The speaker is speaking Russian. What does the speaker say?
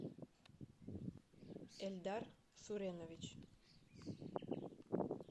эльдар суренович